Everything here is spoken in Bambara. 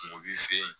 Kungo sen